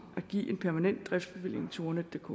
at give en permanent driftsbevilling til ordnetdk